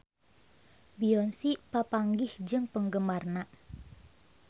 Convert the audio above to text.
Beyonce papanggih jeung penggemarna